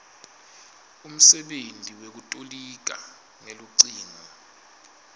umsebenti wekutoliga ngelucingo